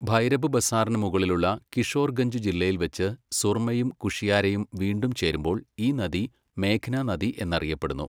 ഭൈരബ് ബസാറിന് മുകളിലുള്ള കിഷോർഗഞ്ച് ജില്ലയിൽവെച്ച് സുർമയും കുഷിയാരയും വീണ്ടും ചേരുമ്പോൾ ഈ നദി മേഘ്ന നദി എന്ന് അറിയപ്പെടുന്നു.